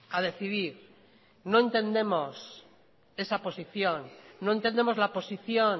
a decidir no entendemos esa posición no entendemos la posición